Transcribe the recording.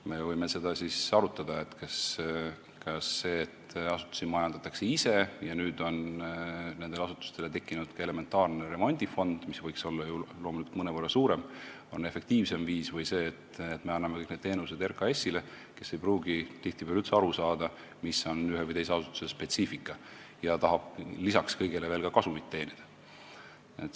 Me võime arutada seda, kas see, et asutusi majandatakse ise ja nüüd on nendele asutustele tekkinud ka elementaarne remondifond, mis võiks olla loomulikult mõnevõrra suurem, on efektiivne viis või on efektiivsem see, et me anname kõik need teenused üle RKAS-ile, kes ei pruugi tihtipeale üldse aru saada, mis on ühe või teise asutuse spetsiifika, ja tahab lisaks kõigele ka kasumit teenida.